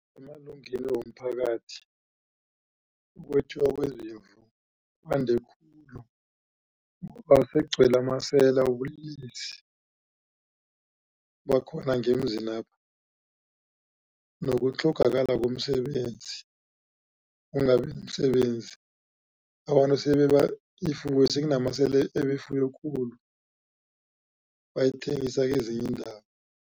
Emalungeni womphakathi ukwetjiwa kwezimvu kwande khulu ngoba sekugcwele amasela wobulelesi bakhona ngemzinapha nokutlhogakala komsebenzi ukungabi nomsebenzi abantu sebeba ifuyo sekunamasela eba ifuyo khulu bayithengisa kezinye iindawo.